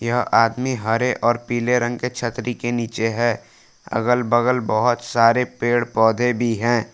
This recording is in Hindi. यह आदमी हरे और पीले रंग के छतरी के नीचे है अगल-बगल बहोत सारे पेड़-पौधे भी हैं।